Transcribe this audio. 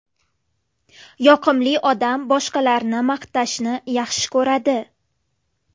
Yoqimli odam boshqalarni maqtashni yaxshi ko‘radi.